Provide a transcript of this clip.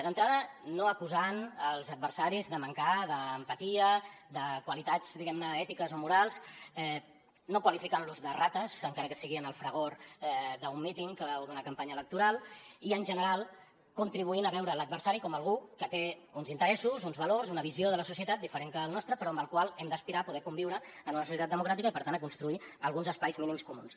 d’entrada no acusant els adversaris de mancar d’empatia de qualitats diguem ne ètiques o morals no qualificant los de rates encara que sigui en el fragor d’un míting o d’una campanya electoral i en general contribuint a veure l’adversari com algú que té uns interessos uns valors una visió de la societat diferent que el nostre però amb el qual hem d’aspirar a poder conviure en una societat democràtica i per tant a construir alguns espais mínims comuns